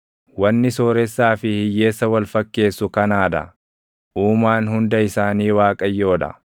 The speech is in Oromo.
Wanni sooressaa fi hiyyeessa wal fakkeessu kanaa dha: Uumaan hunda isaanii Waaqayyoo dha.